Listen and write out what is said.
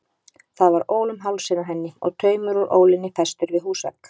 Það var ól um hálsinn á henni og taumur úr ólinni festur við húsvegg.